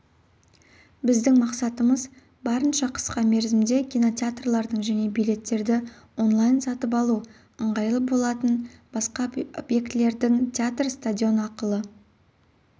біздің мақсатымыз барынша қысқа мерзімде кинотеатрлардың және билеттерді онлайн сатып алу ыңғайлы болатын басқа объектілердің театр стадион ақылы